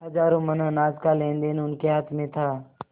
हजारों मन अनाज का लेनदेन उनके हाथ में था